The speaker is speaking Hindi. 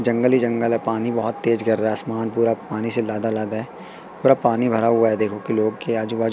जंगली ही जंगल है पानी बहोत तेज गिर रहा है आसमान पूरा पानी से लदा लदा है पूरा पानी भरा हुआ है देखो कि लोग के आजू बाजू--